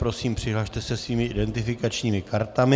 Prosím, přihlaste se svými identifikačními kartami.